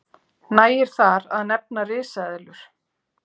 nægir þar að nefna risaeðlur